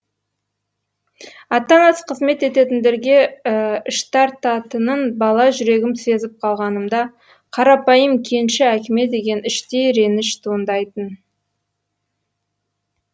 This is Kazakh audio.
ата анасы қызмет ететіндерге іш тартатынын бала жүрегім сезіп қалғанымда қарапайым кенші әкеме деген іштей реніш туындайтын